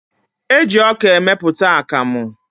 Eji ọka emepụta akamụ.